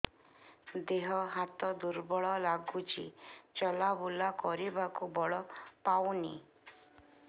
ଦେହ ହାତ ଦୁର୍ବଳ ଲାଗୁଛି ଚଲାବୁଲା କରିବାକୁ ବଳ ପାଉନି